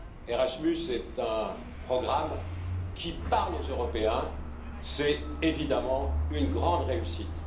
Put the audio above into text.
Erasmus est un programme qui parle aux Européens, c'est évidemment une grande réussite.